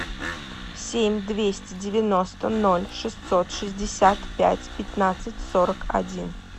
семь двести девяносто ноль шестьсот шестьдесят пять пятнадцать сорок один